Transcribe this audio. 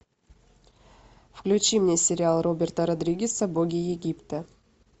включи мне сериал роберта родригеса боги египта